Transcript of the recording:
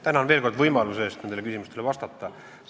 Tänan veel kord võimaluse eest nendele küsimustele vastata!